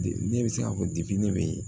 Ne bɛ se k'a fɔ ne bɛ